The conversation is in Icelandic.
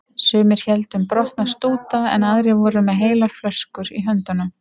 Sumir héldu um brotna stúta en aðrir voru með heilar flöskur í höndunum.